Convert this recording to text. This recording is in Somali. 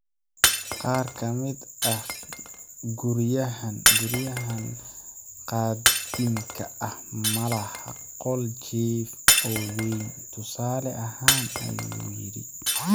Qaar ka mid ah guryahan qadiimka ah ma laha qol jiif oo weyn, tusaale ahaan, ayuu yidhi.